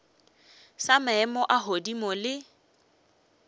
sa maemo a godimo le